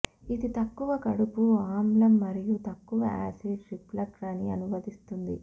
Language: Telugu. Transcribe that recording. ఇది తక్కువ కడుపు ఆమ్లం మరియు తక్కువ యాసిడ్ రిఫ్లక్స్ అని అనువదిస్తుంది